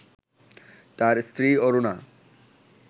তাঁর স্ত্রী অরুণা